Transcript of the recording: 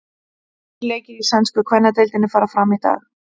Þrír leikir í sænsku kvennadeildinni fara fram í dag.